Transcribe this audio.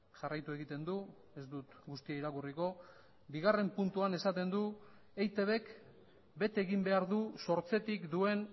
jarraitu egiten du ez dut guztia irakurriko bigarren puntuan esaten du eitbk bete egin behar du sortzetik duen